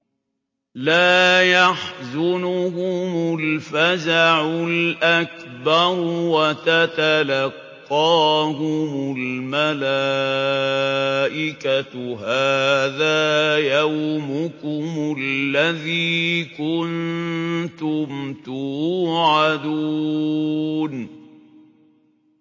لَا يَحْزُنُهُمُ الْفَزَعُ الْأَكْبَرُ وَتَتَلَقَّاهُمُ الْمَلَائِكَةُ هَٰذَا يَوْمُكُمُ الَّذِي كُنتُمْ تُوعَدُونَ